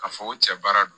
Ka fɔ ko cɛ baara don